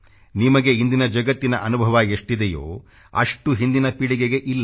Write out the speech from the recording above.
ನಿಮಗೆ ಇಂದಿನ ಜಗತ್ತಿನ ಅನುಭವ ಎಷ್ಟಿದೆಯೋ ಅಷ್ಟು ಹಿಂದಿನ ಪೀಳಿಗೆಗೆ ಇಲ್ಲ